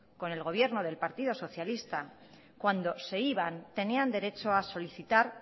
con el gobierno del partido socialista cuando se iban tenían derecho a solicitar